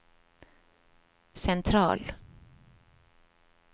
sentral